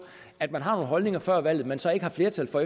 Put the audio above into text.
at man har nogle holdninger før valget men så ikke har flertal for